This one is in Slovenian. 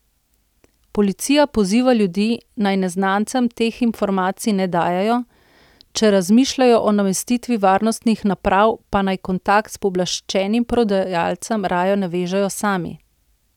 Policija poziva ljudi, naj neznancem teh informacij ne dajejo, če razmišljajo o namestitvi varnostnih naprav, pa naj kontakt s pooblaščenim prodajalcem raje navežejo sami.